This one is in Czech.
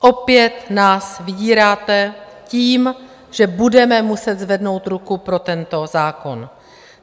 Opět nás vydíráte tím, že budeme muset zvednout ruku pro tento zákon.